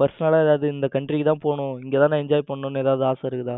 personal லா யாராவது இந்த country தான் போகணும் இங்கதான் enjoy பண்ணனும் ஏதாவது ஆசை இருக்கா